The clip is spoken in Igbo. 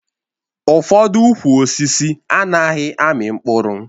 Ụfọdụ ukwu osisi anaghị amị mkpụrụ